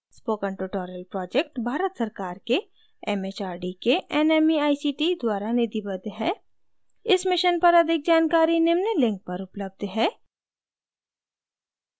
spoken tutorial project Bharat सरकार के mhrd के nmeict द्वारा निधिबद्ध है इस mission पर अधिक जानकारी निम्न link पर उपलब्ध है